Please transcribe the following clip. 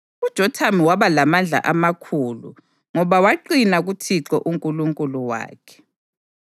UJothamu waba lamandla amakhulu ngoba waqina kuThixo uNkulunkulu wakhe.